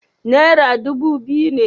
Naira dubu biyu ne.